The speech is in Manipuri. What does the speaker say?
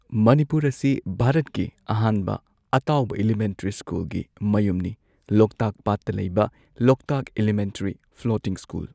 ꯃꯅꯤꯄꯨꯔ ꯑꯁꯤ ꯚꯥꯔꯠꯀꯤ ꯑꯍꯥꯟꯕ ꯑꯇꯥꯎꯕ ꯏꯂꯤꯃꯦꯟꯇꯔꯤ ꯁ꯭ꯀꯨꯜꯒꯤ ꯃꯌꯨꯝꯅꯤ ꯂꯣꯛꯇꯥꯛ ꯄꯥꯠꯇ ꯂꯩꯕ ꯂꯣꯛꯇꯥꯛ ꯏꯂꯤꯃꯦꯟꯇꯔꯤ ꯐ꯭ꯂꯣꯇꯤꯡ ꯁ꯭ꯀꯨꯜ꯫